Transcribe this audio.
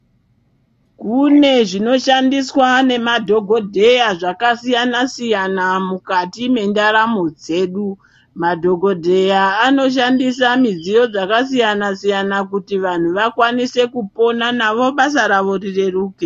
Kune zvinoshandiswa nemadhogodheya zvakasiyana-siyana mukati mendaramo dzedu. Madhogodheya anoshandisa midziyo dzakasiyana-siyana kuti vanhu vakwanise kupona, navo basa ravo rireruke.